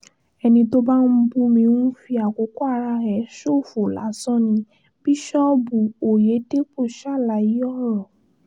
ẹni tó bá ń bú mi ń fi àkókò ara ẹ̀ ṣòfò lásán ni bíṣọ́ọ̀bù ọ̀yẹ́dẹ́pọ̀ ṣàlàyé ọ̀rọ̀